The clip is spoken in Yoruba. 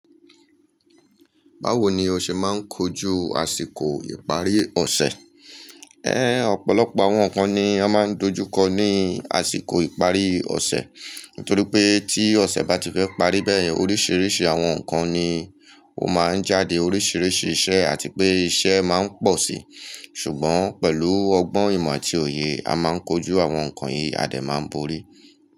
Báwo ni o ṣe máa ń kojú àsìkò ìparí ọ̀ṣẹ̀? Ẹ́, ọ̀pọ̀lọpọ̀ àwọn nǹkan ni a máa ń dojú kọ ní àsìkò ìparí ọ̀ṣẹ̀. Nítorí pé tí ọ̀ṣẹ̀ bá ti fẹ́ parí bẹ́ẹ̀, oríṣiríṣi àwọn nǹkan ni ó máa ń jáde, oríṣiríṣi iṣẹ́ àti pé iṣẹ́ máa ń pọ̀ síi. Ṣùgbọ́n pẹ̀lú ọgbọ́n ìmọ̀ àti òye, a máa ń kojú àwọn nǹkan yìí, adẹ̀ máa ń borí.